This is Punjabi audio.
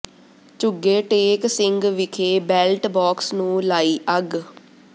ਝੁੱਗੇ ਟੇਕ ਸਿੰਘ ਵਿਖੇ ਬੈਲਟ ਬਾਕਸ ਨੂੰ ਲਾਈ ਅੱੱਗ